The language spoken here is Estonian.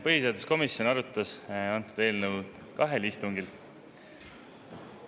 Põhiseaduskomisjon arutas antud eelnõu kahel istungil.